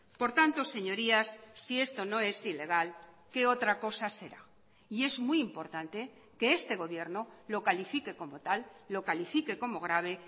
por tanto señorías si esto no es ilegal qué otra cosa será y es muy importante que este gobierno lo califique como tal lo califique como grave